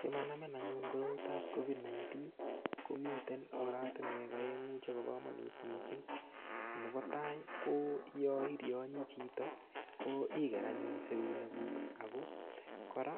Simanamin anyun koroitap COVID-19 komiten oratinwek oengu chebo komonut missing nebo tai ko yo iryonyi chito ko igere anyun serunek kuk ako kora